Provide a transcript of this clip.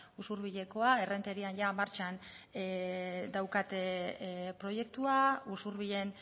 usurbilekoa errenterian jada martxan daukate proiektua usurbilen